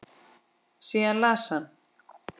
Síðan las hann